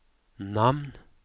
namn